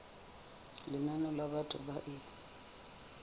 lenane la batho ba e